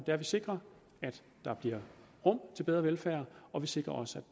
at vi sikrer at der bliver rum til bedre velfærd og vi sikrer også